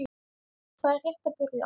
Það er rétt að byrja.